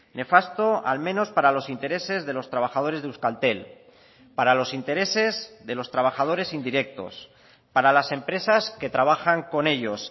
nefasto al menos para los intereses de los trabajadores de euskaltel para los intereses de los trabajadores indirectos para las empresas que trabajan con ellos